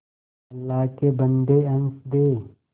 अल्लाह के बन्दे हंस दे